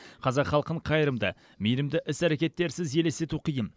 қазақ халқын қайырымды мейірімді іс әрекеттерсіз елестету қиын